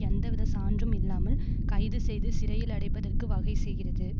எந்தவித சான்றும் இல்லாமல் கைது செய்து சிறையில் அடைப்பதற்கு வகை செய்கிறது